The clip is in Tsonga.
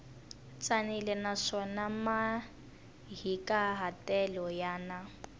tsanile naswona mahikahatelo ya na